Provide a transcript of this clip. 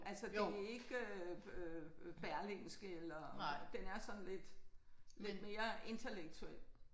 Altså det ikke øh Berlingske eller altså den er sådan lidt lidt mere intellektuel